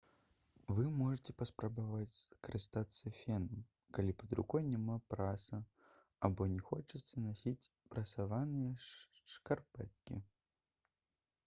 вы можаце паспрабаваць скарыстацца фенам калі пад рукой няма праса або не хочаце насіць прасаваныя шкарпэткі